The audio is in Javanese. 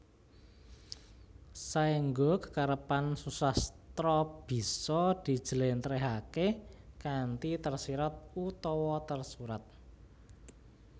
Saengga kekarepan susastra bisa dijlèntrèhaké kanthi tersirat utawa tersurat